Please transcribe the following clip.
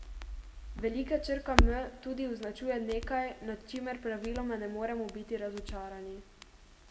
Velika črka M tudi označuje nekaj, nad čimer praviloma ne moremo biti razočarani.